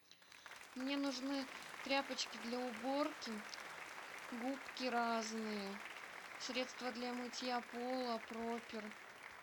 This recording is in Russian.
мне нужны тряпочки для уборки губки разные средство для мытья пола пропер